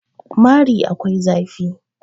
mari akwai zafi